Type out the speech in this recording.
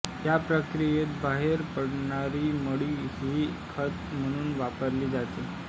या प्रक्रियेत बाहेर पडणारी मळी ही खत म्हणून वापरली जाते